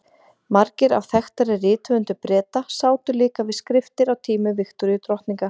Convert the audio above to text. Margir af þekktari rithöfundum Breta sátu líka við skriftir á tímum Viktoríu drottningar.